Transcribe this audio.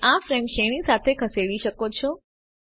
તમે આ ફ્રેમ શ્રેણી સાથે ખસેડી શકો છો